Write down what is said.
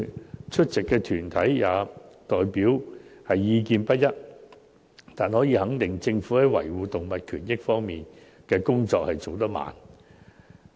雖然出席的團體代表意見不一，但可以肯定的是，政府在維護動物權益方面的工作進展緩慢。